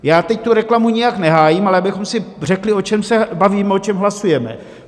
Já teď tu reklamu nijak nehájím, ale abychom si řekli, o čem se bavíme, o čem hlasujeme.